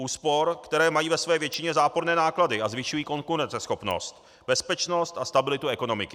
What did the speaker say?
Úspor, které mají ve své většině záporné náklady a zvyšují konkurenceschopnost, bezpečnost a stabilitu ekonomiky.